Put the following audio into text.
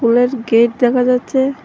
স্কুলের গেট দেখা যাচ্ছে।